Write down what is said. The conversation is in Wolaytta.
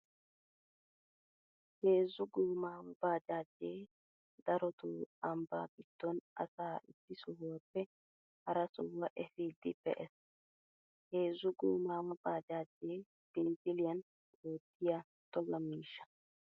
Heezzu goomaawa baajaajee daroto ambbaa giddon asaa issi sohuwaappe hara sohuwaa efiiddi pe'ees. Heezzu goomaawa baajaajee binzziliyan oottiya togga miishsha